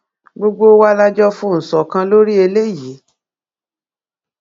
gbogbo wa la jọ fohùn sọ̀kan lórí eléyìí